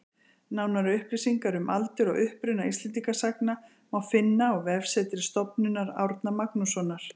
Nánari upplýsingar um aldur og uppruna Íslendingasagna má finna á vefsetri Stofnunar Árna Magnússonar